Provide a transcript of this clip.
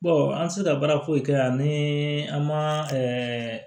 an sera baara foyi kɛ yan ni an ma ɛɛ